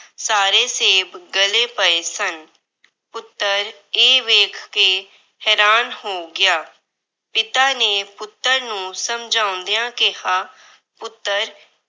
ਸਾਰੇ ਸੇਬ ਗਲੇ ਪਏ ਸਨ। ਪੁੱਤਰ ਇਹ ਵੇਖ ਕੇ ਹੈਰਾਨ ਹੋ ਗਿਆ। ਪਿਤਾ ਨੇ ਪੁੱਤਰ ਨੂੰ ਸਮਝਾਉਂਦਿਆਂ ਕਿਹਾ ਪੁੱਤਰ